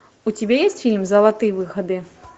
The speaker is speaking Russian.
у тебя есть фильм золотые выходы